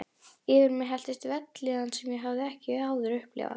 Yfir mig helltist vellíðan sem ég hafði ekki áður upplifað.